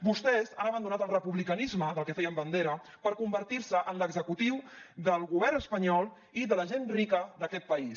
vostès han abandonat el republicanisme del que feien bandera per convertir se en l’executiu del govern espanyol i de la gent rica d’aquest país